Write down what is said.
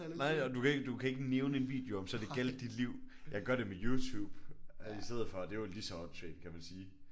Nej nej og du kan ikke du kan ikke nævne en video om så det gjaldt dit liv. Jeg gør det med YouTube i stedet for og det er jo lige så åndssvagt kan man jo sige